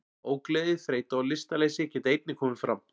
Ógleði, þreyta og lystarleysi geta einnig komið fram.